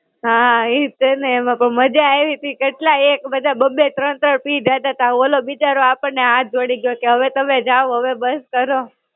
હાં, ઈજ છે ને. એમાં તો મજા આયવી તી. કેટલા એક બધા બબ્બે-ત્રણ ત્રણ પી જાતા તા. ઓલો બિચારો આપણને હાથ જોડી ગ્યો, કે હવે તમે જાઓ, હવે બસ કરો.